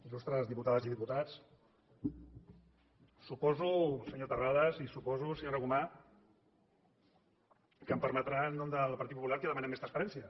il·lustres diputades i diputats suposo senyor terrades i suposo senyora gomà que em permetran que en nom del partit popular demanem més transparència